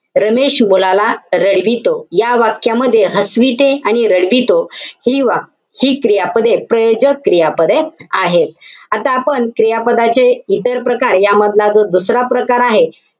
रमेश मुलाला रडवितो. या वाक्यामध्ये हसविते आणि रडवितो. हि वा~ हि क्रियापदे प्रयोजक क्रियापदे आहेत. आता आपण क्रियापदाचे इतर प्रकार, या मधला जो दुसरा प्रकार आहे,